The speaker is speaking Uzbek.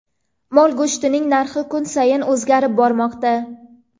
Mol go‘shtining narxi kun sayin o‘zgarib bormoqda.